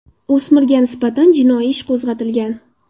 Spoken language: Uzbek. O‘smirga nisbatan jinoiy ish qo‘zg‘atilgan.